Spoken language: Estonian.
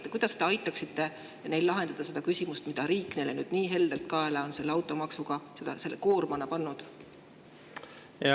Või kuidas te aitaksite neil lahendada seda küsimust, et riik on neile nüüd automaksuga nii heldelt selle koorma kaela pannud?